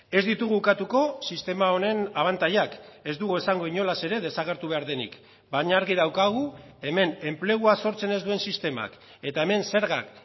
ez ditugu ukatuko sistema honen abantailak ez dugu esango inolaz ere desagertu behar denik baina argi daukagu hemen enplegua sortzen ez duen sistemak eta hemen zergak